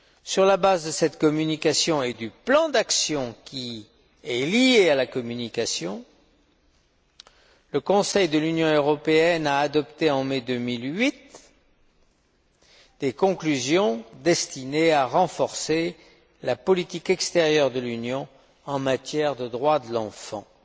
Sur la base de cette communication et du plan d'action qui y est lié, le Conseil de l'Union européenne a adopté, en mai 2008, des conclusions destinées à renforcer la politique extérieure de l'Union en matière de droits de l'enfant. En